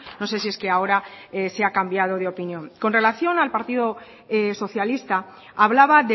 no sé si es que ahora se ha cambiado de opinión con relación al partido socialista hablaba